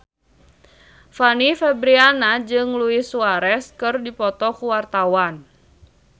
Fanny Fabriana jeung Luis Suarez keur dipoto ku wartawan